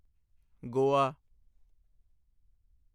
Goa